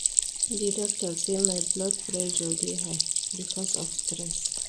Di doctor say my blood pressure dey high because of stress.